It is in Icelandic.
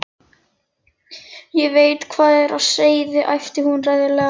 Ég veit hvað er á seyði, æpti hún reiðilega.